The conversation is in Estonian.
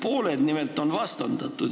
Pooled nimelt on vastandatud.